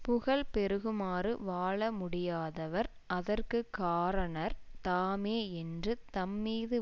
புகழ் பெருகுமாறு வாழமுடியாதவர் அதற்கு காரணர் தாமே என்று தம்மீது